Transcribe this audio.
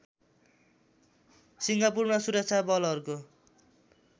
सिङ्गापुरमा सुरक्षा बलहरूको